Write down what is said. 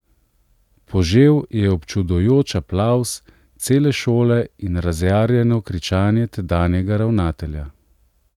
Požel je občudujoč aplavz cele šole in razjarjeno kričanje tedanjega ravnatelja.